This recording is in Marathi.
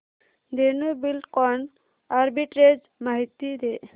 धेनु बिल्डकॉन आर्बिट्रेज माहिती दे